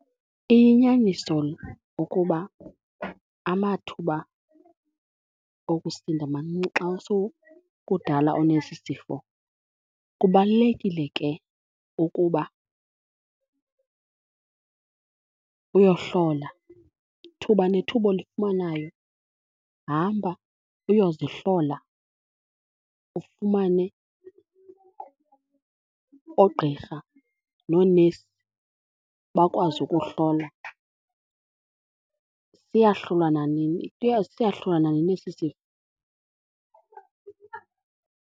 Iyinyaniso ukuba amathuba okusinda mancinci xa kudala unesi sifo. Kubalulekile ke ukuba uyohlola. Thuba nethuba olifumanayo hamba uyozihlola, ufumane oogqirha noonesi bakwazi ukuhlola. Siyahlulwa nanini, siyahlulwa nanini esi sifo.